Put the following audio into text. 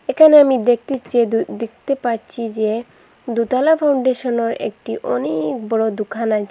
একানে আমি দেকি যে দেকতে পাচ্ছি যে দুতলা ফাউন্ডেশনর একটি অনেক বড় দুকান আছে।